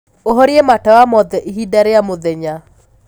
ũhorĩe matawa mothe ĩhĩnda rĩa mũthenya